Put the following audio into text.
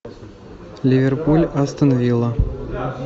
ливерпуль астон вилла